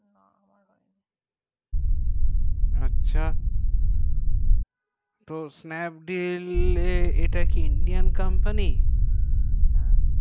আচ্ছা তো snapdeal এটাকি indian company হ্যাঁ